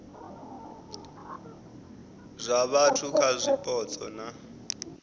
zwa vhathu kha zwipotso na